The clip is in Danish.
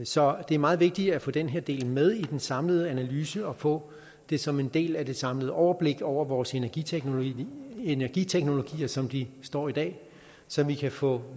så det er meget vigtigt at få den her del med i den samlede analyse og få det som en del af det samlede overblik over vores energiteknologier energiteknologier som de står i dag så vi kan få